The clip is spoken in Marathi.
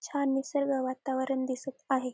छान निसर्ग वातावरण दिसत आहे.